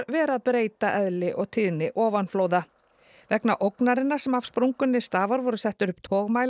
vera að breyta eðli og tíðni ofanflóða vegna ógnarinnar sem af sprungunni stafar voru settir upp